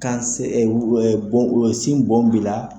Kan se o sin bon bila la.